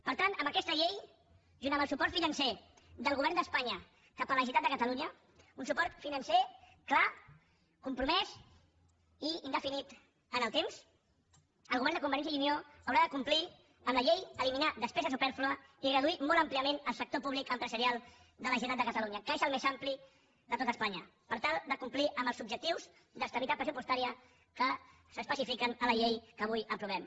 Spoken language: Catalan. per tant amb aquesta llei junt amb el suport financer del govern d’espanya cap a la generalitat de catalunya un suport financer clar compromès i indefinit en el temps el govern de convergència i unió haurà de complir amb la llei eliminar despesa supèrflua i reduir molt àmpliament el sector públic empresarial de la generalitat de catalunya que és el més ampli de tot espanya per tal de complir amb els objectius d’estabilitat pressupostària que s’especifiquen a la llei que avui aprovem